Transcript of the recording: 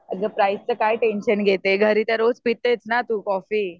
अगं प्राईसचं काय टेन्शन घेते घरी तर रोज पितेच ना तू कॉफी.